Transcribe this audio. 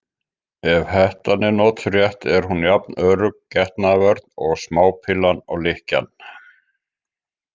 Ef hettan er notuð rétt er hún jafn örugg getnaðarvörn og smápillan og lykkjan.